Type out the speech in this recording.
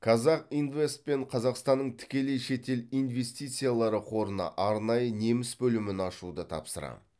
қазақ инвест пен қазақстанның тікелей шетел инвестициялары қорына арнайы неміс бөлімін ашуды тапсырам